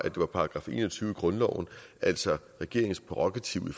§ en og tyve i grundloven altså regeringens prærogativ i